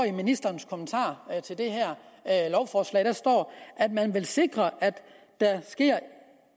i ministerens kommentarer til det her lovforslag står at man vil sikre at der sker